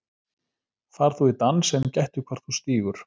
Far þú í dans en gættu hvar þú stígur.